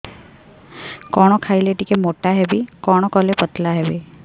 କଣ ଖାଇଲେ ଟିକେ ମୁଟା ହେବି କଣ କଲେ ପତଳା ହେବି